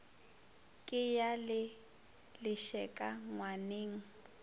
ka ya le lešeka ngwaneng